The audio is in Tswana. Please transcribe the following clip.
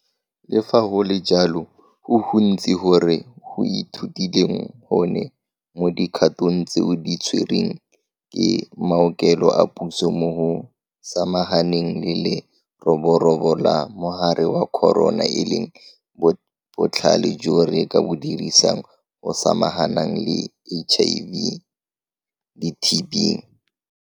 Le fa go le jalo, go gontsi go re go ithutileng gone mo dikgatong tseo di tserweng ke maokelo a puso mo go samaganeng le le-roborobo la mogare wa corona e leng botlhale jo re ka bo dirisang go samaganang le HIV le TB.